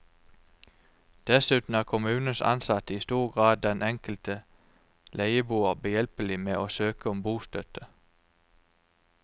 Dessuten er kommunens ansatte i stor grad den enkelte leieboer behjelpelig med å søke om bostøtte.